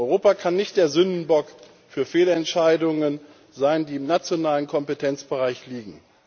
Europa kann nicht der Sündenbock für Fehlentscheidungen sein, die im nationalen Kompetenzbereich liegen.